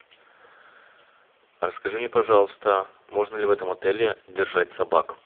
расскажи мне пожалуйста можно ли в этом отеле держать собак